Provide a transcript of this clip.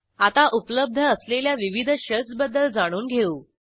आता उपलब्ध असलेल्या विविध शेल्स बद्दल जाणून घेऊ